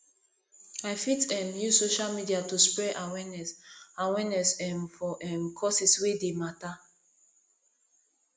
i fit um use social media to spread awareness awareness um for um causes wey dey matter